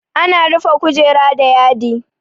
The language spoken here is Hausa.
Ana rufe kujera da yadi.